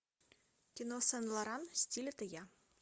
кино сен лоран стиль это я